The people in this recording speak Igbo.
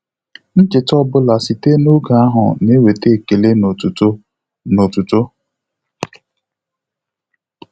Ncheta ọ bụla site n'oge ahụ na-eweta ekele na otuto na otuto